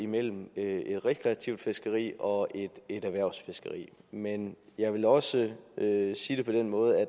mellem et rekreativt fiskeri og et erhvervsfiskeri men jeg vil også sige det på den måde at